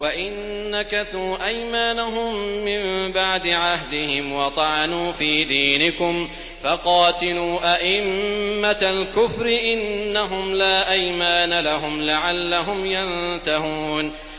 وَإِن نَّكَثُوا أَيْمَانَهُم مِّن بَعْدِ عَهْدِهِمْ وَطَعَنُوا فِي دِينِكُمْ فَقَاتِلُوا أَئِمَّةَ الْكُفْرِ ۙ إِنَّهُمْ لَا أَيْمَانَ لَهُمْ لَعَلَّهُمْ يَنتَهُونَ